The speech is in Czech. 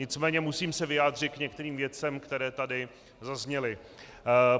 Nicméně se musím vyjádřit k některým věcem, které tady zazněly.